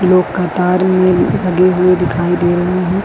लोग कतार में लगे हुए दिखाई दे रहे हैं।